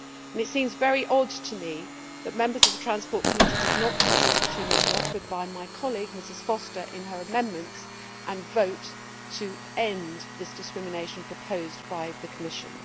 It seems very odd to me that members of the Transport Committee did not take the opportunity offered by my colleague, Mrs Foster, in her amendments, and vote to end this discrimination proposed by the Commission.